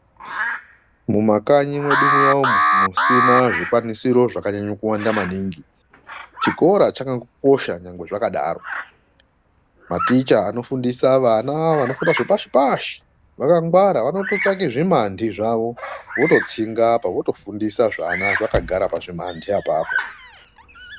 Mumakanyi mwedu muya umu musina zvikwanisiro zvakanyanyo kuwanda maningi chikora chakangokosha nyangwe zvakadaro maticha anofundisa vana vanofunda zvepashi pashi vakangwara vanototsvake zvimandi zvavo vototsinga apa votofundisa zvana zvakagara pazvimandi apapo.